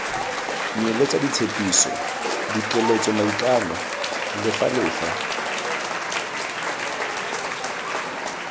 nyeletse ditshepiso dikeletso maikano lefelafela